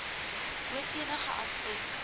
oor enige aspek